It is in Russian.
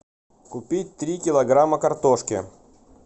купить три килограмма картошки